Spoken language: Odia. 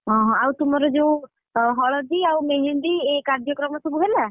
ହଁ ହଁ ଆଉ ତୁମର ଯୋଉ, ହଳଦୀ ଆଉ ମେହେନ୍ଦୀ ଏ କାଯ୍ୟକ୍ରମ ସବୁ ହେଲା?